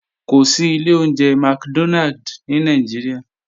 Kò sí ilé oúnjẹ McDonald ní Nàìjíríà